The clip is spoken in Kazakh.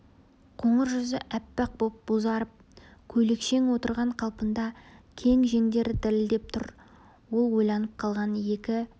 қоңыр жүзі аппақ боп бозарып көйлекшең отырған қалпында кең жеңдер дірілдеп тұр ол ойланып қалған екі